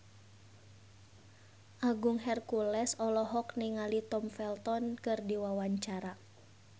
Agung Hercules olohok ningali Tom Felton keur diwawancara